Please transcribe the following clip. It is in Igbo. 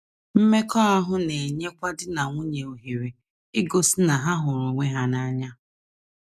Mmekọahụ na - enyekwa di na nwunye ohere igosi na ha hụrụ onwe ha n’anya.